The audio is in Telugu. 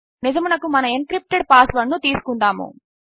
నిజమునకు మన ఎన్క్రిప్టెడ్ పాస్ వర్డ్ ను తీసుకుందాము